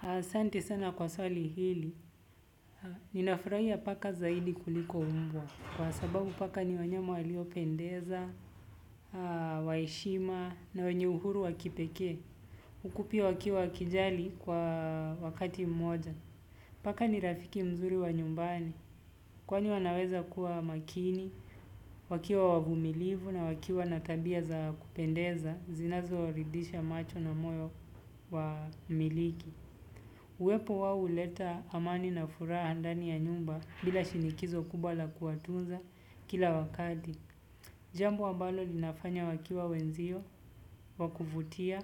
Asante sana kwa swali hili ninafurahia paka zaidi kuliko mbwa kwa sababu paka ni wanyama waliopendeza wa heshima na wenye uhuru wa kipekee. Ukupi wake wa kijali kwa wakati mmoja. Paka ni rafiki mzuri wa nyumbani, kwani wanaweza kuwa makini, wakiwa wavumilivu na wakiwa na tabia za kupendeza zinazoridhisha macho na moyo wa mmiliki. Uwepo wao huleta amani na furaha ndani ya nyumba bila shinikizo kubwa la kuwatunza kila wakati. Jambo ambalo linafanya wakiwa wenzio wa kuvutia,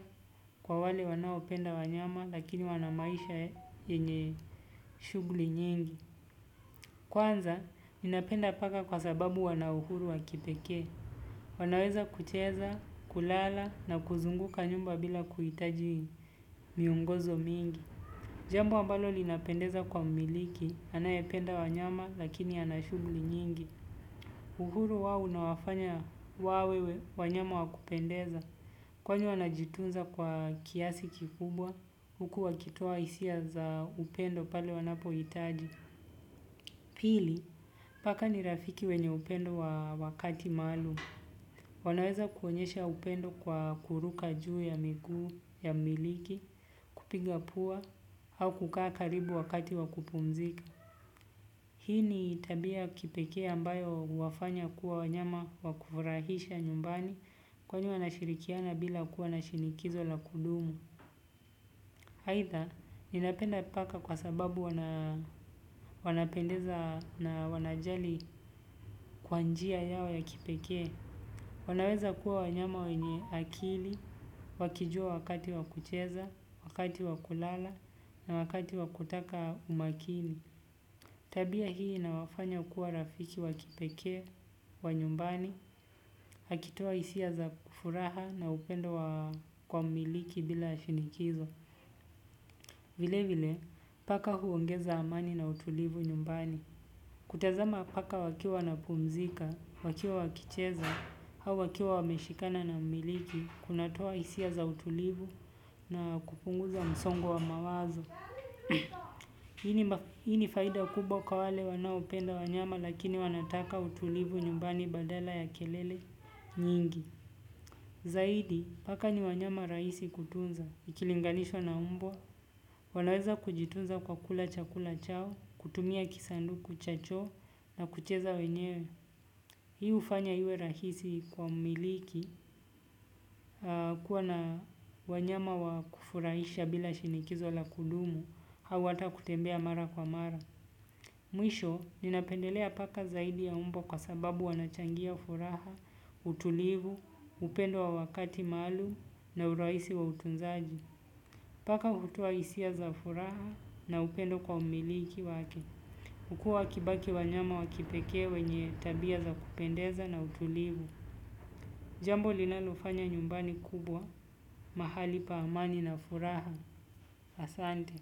kwa wale wanaopenda wanyama lakini wana maisha yenye shughuli nyingi. Kwanza, ninapenda paka kwa sababu wanauhuru wa kipekee. Wanaweza kucheza, kulala na kuzunguka nyumba bila kuhitaji miongozo mingi. Jambo ambalo linapendeza kwa mmiliki, anayependa wanyama lakini ana shughuli nyingi. Uhuru wao unawafanya wawe wanyama wa kupendeza kwani wanajitunza kwa kiasi kikubwa, huku wakitoa hisia za upendo pale wanapohitaji. Pili, paka ni rafiki wenye upendo wa wakati maalum, wanaweza kuonyesha upendo kwa kuruka juu ya miguu ya mmiliki, kupiga pua, au kukaa karibu wakati wa kupumzika. Hii ni tabia ya kipekee ambayo huwafanya kuwa wanyama wa kufurahisha nyumbani kwani wanashirikiana bila kuwa na shinikizo la kudumu. Aidha, ninapenda paka kwa sababu wanapendeza na wanajali kwa njia yao ya kipekee. Wanaweza kuwa wanyama wenye akili, wakijua wakati wa kucheza, wakati wa kulala, na wakati wa kutaka umakini. Tabia hii inawafanya kuwa rafiki wa kipekee wa nyumbani, akitoa hisia za furaha na upendo wa kwa mmiliki bila shinikizo. Vile vile, paka huongeza amani na utulivu nyumbani. Kutazama paka wakiwa wanapumzika, wakiwa wakicheza, au wakiwa wameshikana na mmiliki, kunatoa hisia za utulivu na kupunguza msongo wa mawazo. Hii ni faida kubwa kwa wale wanaopenda wanyama lakini wanataka utulivu nyumbani badala ya kelele nyingi. Zaidi, paka ni wanyama rahisi kutunza, ikilinganishwa na mbwa, wanaweza kujitunza kwa kula chakula chao, kutumia kisanduku cha choo na kucheza wenyewe. Hii hufanya iwe rahisi kwa mmiliki, kuwa na wanyama wa kufurahisha bila shinikizo la kudumu, au hata kutembea mara kwa mara. Mwisho, ninapendelea paka zaidi ya mbwa kwa sababu wanachangia furaha, utulivu, upendo wa wakati maalum na urahisi wa utunzaji. Paka hutoa hisia za furaha na upendo kwa mmiliki wake. Kuwa wakibaki wanyama wa kipekee wenye tabia za kupendeza na utulivu. Jambo linalofanya nyumbani kubwa mahali pa amani na furaha. Asante.